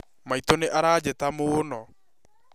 Maitũ nĩaranjĩta mũũno